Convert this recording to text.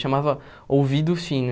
Chamava Ouvido Fino.